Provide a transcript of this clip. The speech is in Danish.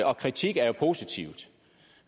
og kritik er jo positivt